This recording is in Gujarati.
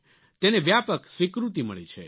તેને વ્યાપક સ્વીકૃતિ મળી છે